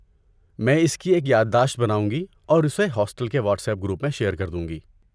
میں اس کی ایک یاد داشت بناؤں گی اور اسے ہاسٹل کے واٹس ایپ گروپ میں شیئر کر دوں گی۔